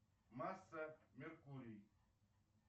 масса меркурий